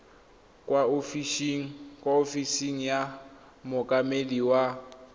kwa ofising ya mookamedi wa